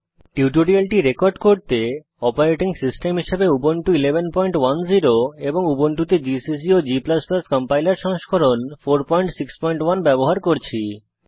টিউটোরিয়ালটি রেকর্ড করতে operating system হিসাবে উবুন্টু 1110 এবং উবুন্টুতে জিসিসি ও g কম্পাইলার সংস্করণ 461 ব্যবহার করছি